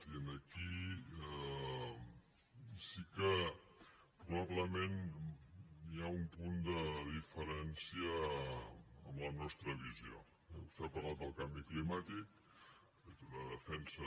i aquí sí que probablement hi ha un punt de diferència en la nostra visió eh vostè ha parlat del canvi climàtic ha fet una defensa